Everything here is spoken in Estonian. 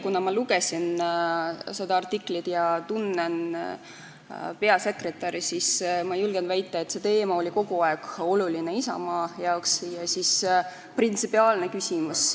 Kuna ma lugesin seda artiklit ja tunnen meie erakonna peasekretäri, siis ma julgen väita, et see teema on kogu aeg olnud Isamaale oluline ja see on meie jaoks printsipiaalne küsimus.